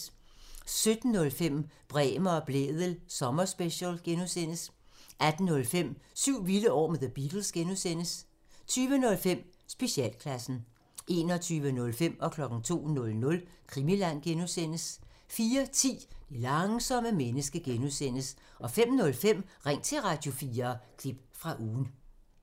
17:05: Bremer og Blædel sommerspecial (G) 18:05: Syv vilde år med The Beatles (G) 20:05: Specialklassen 21:05: Krimiland (G) 02:00: Krimiland (G) 04:10: Det langsomme menneske (G) 05:05: Ring til Radio4 – klip fra ugen